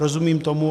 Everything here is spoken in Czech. Rozumím tomu.